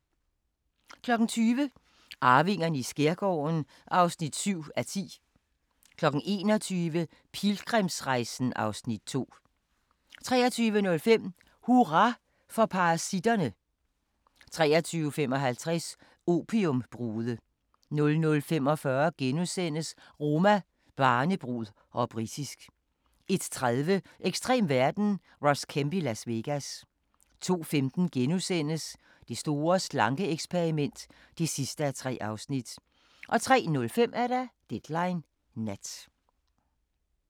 20:00: Arvingerne i skærgården (7:10) 21:00: Pilgrimsrejsen (Afs. 2) 23:05: Hurra for parasitterne! 23:55: Opiumbrude 00:45: Roma, barnebrud - og britisk * 01:30: Ekstrem verden – Ross Kemp i Las Vegas 02:15: Det store slanke-eksperiment (3:3)* 03:05: Deadline Nat